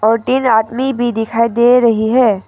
और तीन आदमी भी दिखाई दे रही है।